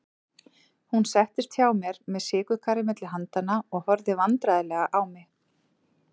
Hún settist hjá mér með sykurkarið milli handanna og horfði vandræðaleg á mig.